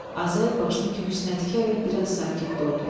Azay başını köksünə dikərək biraz sakit durdu.